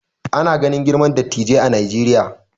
Ana ganin girman dattijai a Najeriya